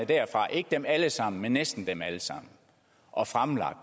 derfra ikke dem alle sammen men næsten dem alle sammen og fremlagt